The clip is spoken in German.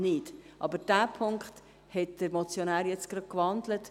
Diesen Punkt hat der Motionär jetzt gerade gewandelt.